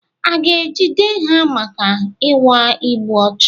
A ga-ejide ha maka ịnwa igbu ọchụ?